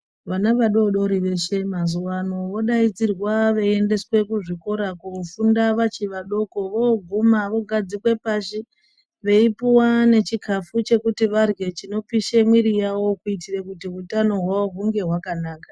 Vana vadodori veshe mazuwa ano vodaidzirwa veiendeswa kuzvikora kuofunda vachivadoko voguma vagadzikwa pashi veipuwa nechikafu chekuti vadyre chinopisha mwiri yawo kuitira kuti utano hwawo hunge hwakanaka.